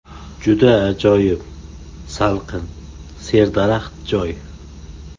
Juda ajoyib – salqin, serdaraxt joy.